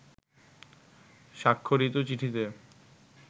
স্বাক্ষরিত চিঠিতে